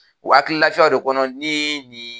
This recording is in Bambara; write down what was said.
Wa hakili lafiyaw de kɔnɔ ni ni